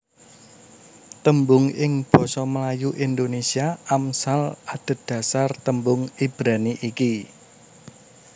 Tembung ing basa Melayu Indonésia Amsal adhedhasar tembung Ibrani iki